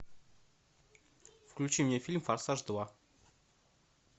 включи мне фильм форсаж два